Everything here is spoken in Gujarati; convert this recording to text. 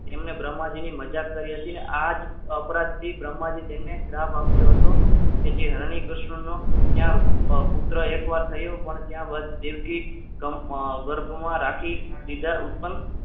તેમને બ્રહ્માજીની મજાક કરી હતી અને આ જ અપરાધી બ્રહ્માજી તેમને શ્રાપ આપ્યો હતો કે જે હરિકૃષ્ણનો ત્યાં પુત્ર એકવાર થયો પણ ત્યાં વધુ દેવકી ગર્ભમાં રાખી સીધા ઉત્પન્ન